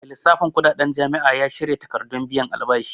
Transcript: Mai lissafin kuɗaɗen jami'a ya shirya takardun biyan albashi